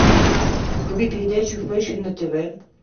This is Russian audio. вруби передачу фэшн на тв